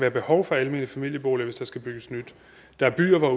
et behov for almene familieboliger hvis der skal bygges nyt der er byer hvor